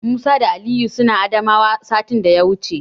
Musa da Aliyu suna Adamawa satin daya wuce.